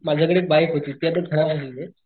माझ्याकडे एक बाइक होती ती आता खराब झालीये